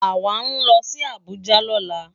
Awá nlò si Abuja lòlá